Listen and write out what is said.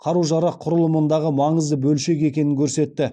қару жарақ құрылымындағы маңызды бөлшегі екенін көрсетті